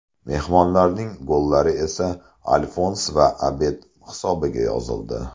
Mehmonlarning gollari esa Alfons va Abed hisobiga yozildi.